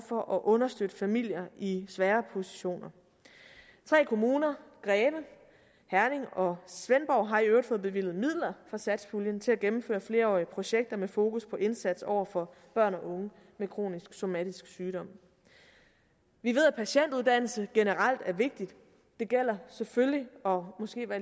for at understøtte familier i svagere positioner tre kommuner greve herning og svendborg har i øvrigt fået bevilget midler fra satspuljen til at gennemføre flerårige projekter med fokus på indsatsen over for børn og unge med kronisk somatisk sygdom vi ved at patientuddannelse generelt er vigtig det gælder selvfølgelig og måske var